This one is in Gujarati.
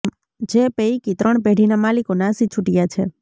જે પૈકી ત્રણ પેઢીના માલિકો નાસી છૂટ્યા છે